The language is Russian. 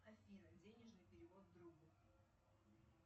афина денежный перевод другу